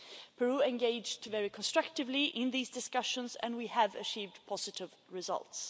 Peru engaged very constructively in these discussions and we have achieved positive results.